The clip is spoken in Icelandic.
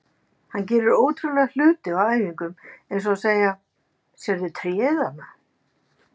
Hann gerir ótrúlega hluti á æfingum eins og að segja: Sérðu tréð þarna?